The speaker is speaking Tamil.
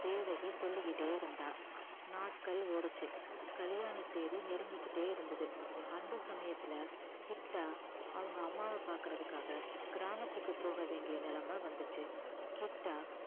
தேவகி சொல்லிக்கிட்டே இருந்தா நாட்கள் ஓடுச்சு கல்யாண தேதி நெருங்கிக்கிட்டே இருந்தது அந்த சமயத்துல கிட்டா அவங்க அம்மாவ பாக்கறதுக்காக கிராமத்துக்கு போக வேண்டிய நிலைமை வந்துச்சு கிட்டா